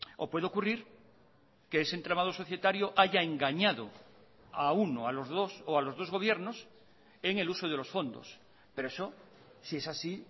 o puede ocurrir que ese entramado societario haya engañado a uno a los dos o a los dos gobiernos en el uso de los fondos pero eso si es así